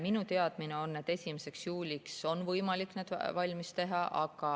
Minu teadmine on, et 1. juuliks on võimalik need valmis teha.